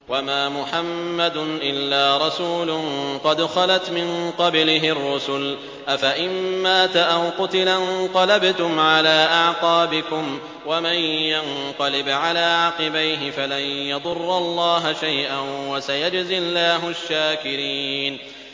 وَمَا مُحَمَّدٌ إِلَّا رَسُولٌ قَدْ خَلَتْ مِن قَبْلِهِ الرُّسُلُ ۚ أَفَإِن مَّاتَ أَوْ قُتِلَ انقَلَبْتُمْ عَلَىٰ أَعْقَابِكُمْ ۚ وَمَن يَنقَلِبْ عَلَىٰ عَقِبَيْهِ فَلَن يَضُرَّ اللَّهَ شَيْئًا ۗ وَسَيَجْزِي اللَّهُ الشَّاكِرِينَ